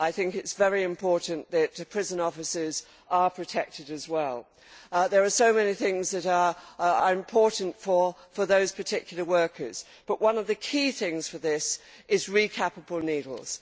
I think it is very important that prison officers are protected as well. There are so many things that are important for those particular workers but one of the key things for this is recapable needles.